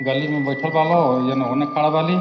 गली में बैठल बा लोग। एक जाना होने खड़ा बाली।